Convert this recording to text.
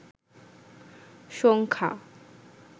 সংখ্যা